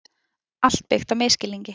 Allt byggt á misskilningi.